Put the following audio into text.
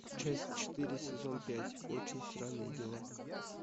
часть четыре сезон пять очень странные дела